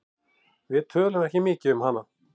Við tölum ekki mikið um hana.